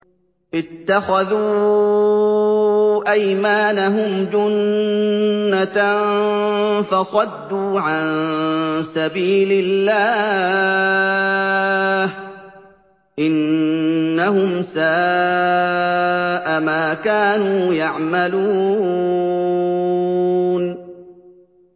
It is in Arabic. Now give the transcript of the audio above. اتَّخَذُوا أَيْمَانَهُمْ جُنَّةً فَصَدُّوا عَن سَبِيلِ اللَّهِ ۚ إِنَّهُمْ سَاءَ مَا كَانُوا يَعْمَلُونَ